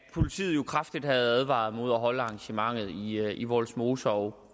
politiet jo kraftigt havde advaret imod at holde arrangementet i i vollsmose og